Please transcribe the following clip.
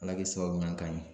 Ala ki sababu ɲuman k'an ɲe